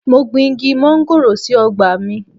Mo gbin Igi móngòrò sí ọgbà mi.